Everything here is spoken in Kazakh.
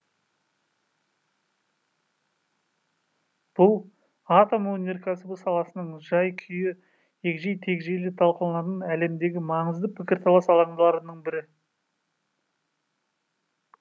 бұл атом өнеркәсібі саласының жай күйі егжей тегжейлі талқыланатын әлемдегі маңызды пікірталас алаңдарының бірі